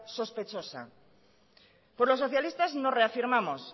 sospechosa pues los socialistas nos reafirmamos